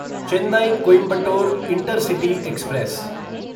Chennai Coimbatore intercity express